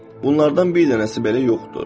Bunlardan bir dənəsi belə yoxdur.